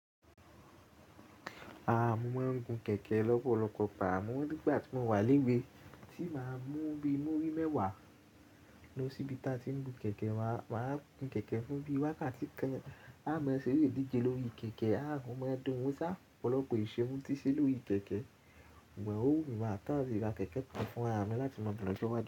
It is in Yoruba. Rárá, mo máa ń gun kẹ̀kẹ́ lọ́pọ̀lọpọ̀ pàá. Mo mọ̀ nígbà tí mo wà lẹ́gbẹ̀ẹ́, tí màá mú bíi múrí mẹ́wàá lósìbí tá tí ń gun kẹ̀kẹ́. Màá gún kẹ̀kẹ́ fún bíi wákàtí kàn. Á mọ̀ ẹ́ ṣeré díje lórí kẹ̀kẹ́. Á gun mọ́ ẹ́ dun. Ó sá ọ̀pọ̀lọpọ̀ ìṣẹ́ mú tíṣẹ́ lórí kẹ̀kẹ́. Wọn ò wù mí mọ́ tán. Wìwà kẹ̀kẹ́ kán fún ara mi láti mọ̀ bí mo ṣe máa ṣe wà.